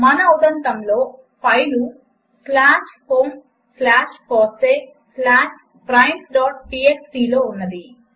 మన ఉదంతములో file slash home slash FOSSEE slash primesటీఎక్స్టీ లో ఉన్నది